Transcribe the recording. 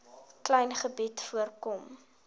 klein gebied voorkom